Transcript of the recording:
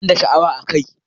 Ba ni da sha'awa a kai